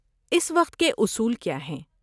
اس وقت کے اصول کیا ہیں؟